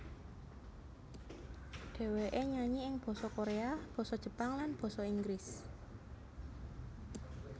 Dhèwèké nyanyi ing basa Koréa basa Jepang lan basa Inggris